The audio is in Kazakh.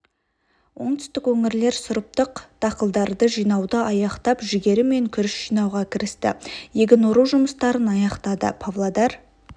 оңтүстік өңірлер сұрыптық дақылдарды жинауды аяқтап жүгері мен күріш жинауға кірісті егін ору жұмыстарын аяқтады павлодар